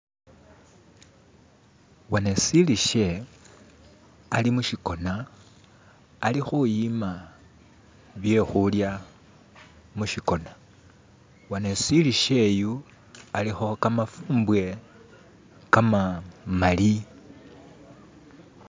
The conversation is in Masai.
wanesilikhe alimushikona alikhuyima byekhulya mushikona wanesilikhe uyu alikho kamafumbwe kamamali.